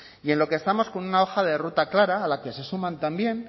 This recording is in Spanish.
y en lo que estamos con una hoja de ruta clara a la que se suman también